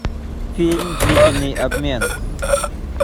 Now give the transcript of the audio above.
фильм длительный обмен